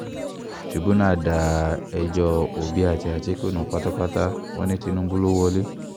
tìrìbùnà da ẹjọ́ òbí àti àtìkú nù pátápátá wọn ní tìǹbù ló wọ̀lẹ̀